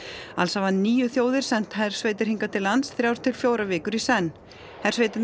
alls hafa níu þjóðir sent hersveitir hingað til lands þrjár til fjórar vikur í senn hersveitirnar